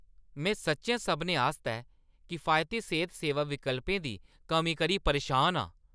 में सच्चैं सभनें आस्तै किफायती सेह्त सेवा विकल्पें दी कमी करी परेशान आं।